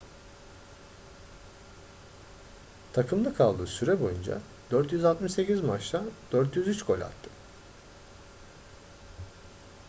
takımda kaldığı süre boyunca 468 maçta 403 gol attı